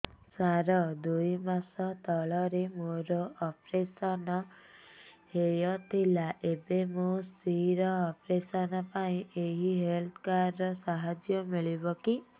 ସାର ଦୁଇ ମାସ ତଳରେ ମୋର ଅପେରସନ ହୈ ଥିଲା ଏବେ ମୋ ସ୍ତ୍ରୀ ର ଅପେରସନ ପାଇଁ ଏହି ହେଲ୍ଥ କାର୍ଡ ର ସାହାଯ୍ୟ ମିଳିବ କି